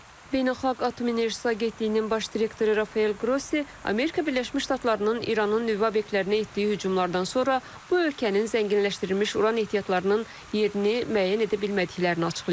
Beynəlxalq Atom Enerjisi Agentliyinin baş direktoru Rafael Qrossi Amerika Birləşmiş Ştatlarının İranın nüvə obyektlərinə etdiyi hücumlardan sonra bu ölkənin zənginləşdirilmiş uran ehtiyatlarının yerini müəyyən edə bilmədiklərini açıqlayıb.